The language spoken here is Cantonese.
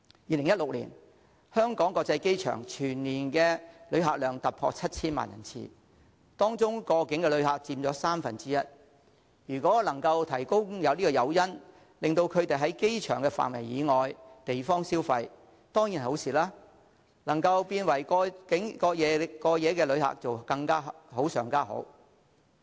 2016年，香港國際機場全年旅客量突破 7,000 萬人次，當中過境旅客佔三分之一，如果能夠提供誘因，令他們在機場範圍以外地方消費，當然是好事，如果他們能成為過夜旅客便更好。